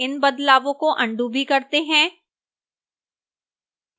इन बदलावों को अन्डू भी करते हैं